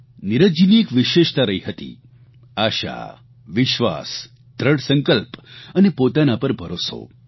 નીરજજીની એક વિશેષતા રહી હતી આશા વિશ્વાસ દ્રઢ સંકલ્પ અને પોતાના પર ભરોસો